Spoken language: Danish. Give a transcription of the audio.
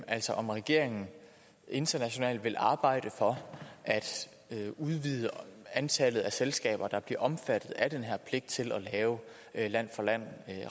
altså om regeringen internationalt vil arbejde for at udvide antallet af selskaber der bliver omfattet af den her pligt til at lave land for land